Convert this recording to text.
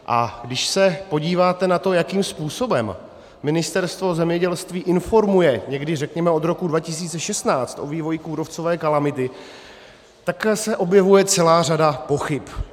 A když se podíváte na to, jakým způsobem Ministerstvo zemědělství informuje někdy, řekněme, od roku 2016 o vývoji kůrovcové kalamity, tak se objevuje celá řada pochyb.